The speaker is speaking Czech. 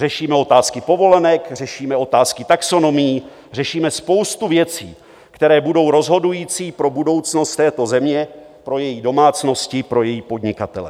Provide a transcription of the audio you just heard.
Řešíme otázky povolenek, řešíme otázky taxonomií, řešíme spoustu věcí, které budou rozhodující pro budoucnost této země, pro její domácnosti, pro její podnikatele.